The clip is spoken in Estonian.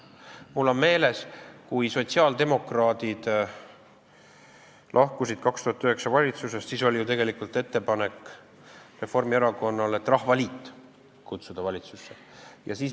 Mul on meeles, et kui sotsiaaldemokraadid lahkusid 2009. aastal valitsusest, siis oli ju tegelikult Reformierakonnal ettepanek kutsuda Rahvaliit valitsusse.